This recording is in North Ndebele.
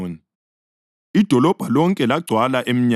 Idolobho lonke lagcwala emnyango,